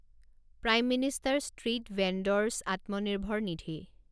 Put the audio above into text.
prime minister street vendor's Atmanirbhar Nidhi